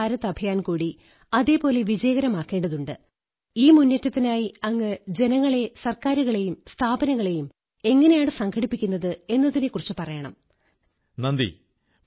ചുറ്റുപാടുകൾ എത്രതന്നെ വിഷമം പിടിച്ചതാണെങ്കിലും നർമ്മബോധം നിലനിർത്തൂ അത് നമ്മെ സ്വാഭാവികതയോടെ നിലനിർത്തുമെന്നു മാത്രമല്ല നമുക്ക് നമ്മുടെ പ്രശ്നത്തിന് പരിഹാരമുണ്ടാക്കാനും സാധിക്കും